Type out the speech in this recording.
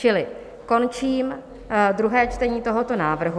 Čili končím druhé čtení tohoto návrhu.